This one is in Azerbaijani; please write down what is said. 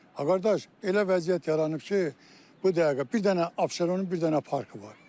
A qardaş, elə vəziyyət yaranıb ki, bu dəqiqə bir dənə Abşeronun bir dənə parkı var.